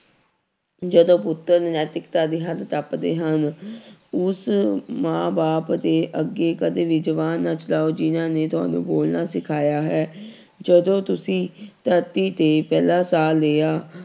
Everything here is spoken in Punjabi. ਜਦੋਂ ਪੁੱਤਰ ਨੈਤਿਕਤਾ ਦੀ ਹੱਦ ਟੱਪਦੇ ਹਨ ਉਸ ਮਾਂ ਬਾਪ ਦੇ ਅੱਗੇ ਕਦੇ ਵੀ ਜ਼ੁਬਾਨ ਨਾ ਚਲਾਓ ਜਿਹਨਾਂ ਨੇ ਤੁਹਾਨੂੰ ਬੋਲਣਾ ਸਿਖਾਇਆ ਹੈ ਜਦੋਂ ਤੁਸੀਂ ਧਰਤੀ ਤੇ ਪਹਿਲਾ ਸਾਹ ਲਿਆ